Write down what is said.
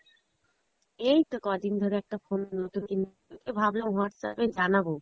এইতো কদিন ধরে একটা phone নতুন কিনবো কিনবো তোকে ভাবলাম Whatsapp এ জানাবো